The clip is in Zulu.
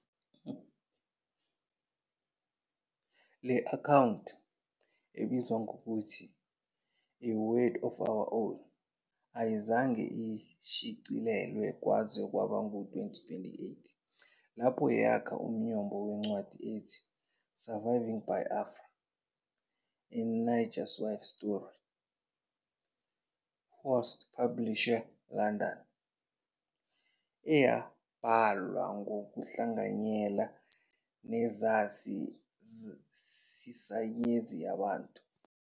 Le akhawunti, ebizwa ngokuthi "A World of our Own," ayizange ishicilelwe kwaze kwaba ngu-2018, lapho yakha umnyombo wencwadi ethi, "Surviving Biafra, A Nigerwife's Story,", Hurst Publishers, London, eyabhalwa ngokuhlanganyela nesazi sesayensi yabantu